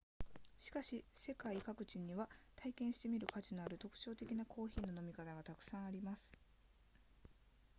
しかし世界各地には体験してみる価値のある特徴的なコーヒーの飲み方がたくさんあります